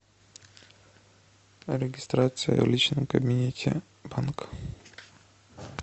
регистрация в личном кабинете банка